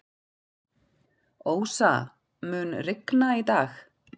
Ósa, mun rigna í dag?